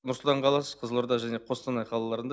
нұр сұлтан қаласы қызылорда және қостанай қалаларында